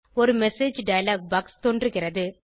ஒரு message dialog box தோன்றுகிறது